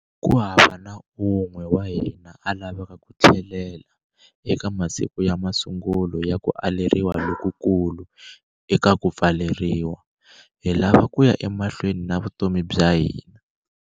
Kuhava na un'we wa hina a lavaka ku tlhelela eka masiku ya masungulo ya kualeriwa lokukulu eka ku pfaleriwa. Hi lava kuya emahlweni na vutomi bya hina.